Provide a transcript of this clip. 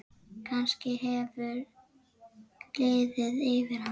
Kannski hefur liðið yfir hana?